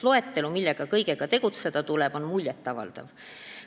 Loetelu, mille kõigega tegeleda tuleb, on muljetavaldav.